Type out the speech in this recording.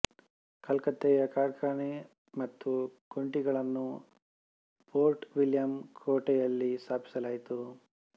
ಕಲ್ಕತ್ತೆಯ ಕಾರ್ಖಾನೆ ಮತ್ತು ಕೋಠಿಗಳನ್ನು ಪೋರ್ಟ ವಿಲಿಯಂ ಕೋಟೆಯಲ್ಲಿ ಸ್ಥಾಪಿಸಲಾಯಿತು